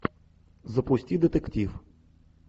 запусти детектив